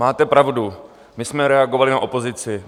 Máte pravdu, my jsme reagovali na opozici.